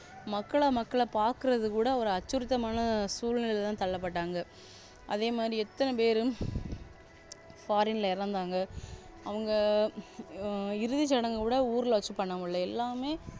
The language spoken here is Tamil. மக்களா மக்கள பாக்குறதுக்கூட ஒரு அச்சுறுத்தமான சூழ்நிலைலதான் தள்ளப்பட்டங்க. அதே மாதிரி எத்தனை பேரும் Foreign இருந்தாங்க. அவங்க இறுதிசடங்கு கூட ஊர்ல வச்சு பண்ணமுடில எல்லாமே,